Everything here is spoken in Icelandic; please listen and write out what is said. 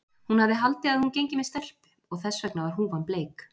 Hún hafði haldið að hún gengi með stelpu og þess vegna var húfan bleik.